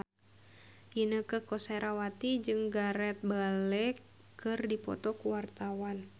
Inneke Koesherawati jeung Gareth Bale keur dipoto ku wartawan